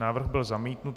Návrh byl zamítnut.